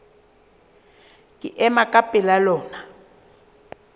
ke ema ka pela lona